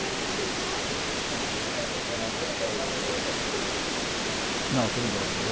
Aqui tem todo um, sabe? Eh não pode, não pode.ao, tudo bem